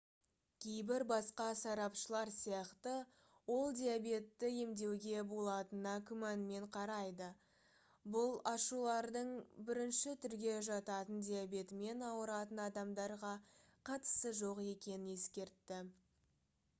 кейбір басқа сарапшылар сияқты ол диабетті емдеуге болатынына күмәнмен қарайды бұл ашулардың 1-түрге жататын диабетімен ауыратын адамдарға қатысы жоқ екенін ескертті